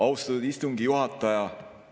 Austatud istungi juhataja!